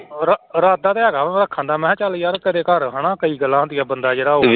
ਰ ਇਰਾਦਾ ਤੇ ਹੈਗਾ ਵਾ ਰੱਖਣ ਦਾ ਮੈਂ ਕਿਹਾ ਚੱਲ ਯਾਰ ਕਿਤੇ ਘਰ ਹਨਾ ਕਈ ਗੱਲਾਂ ਹੁੰਦੀਆਂ ਬੰਦਾ ਜਿਹੜਾ ਉਹ